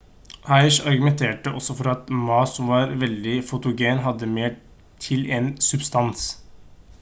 hsieh argumenterte også for at ma som var veldig fotogen hadde mer stil enn substans